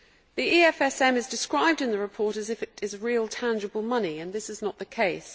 The EFSM is described in the report as if it were real, tangible money, and this is not the case.